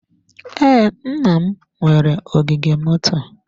Ee, nna m nwere ogige moto.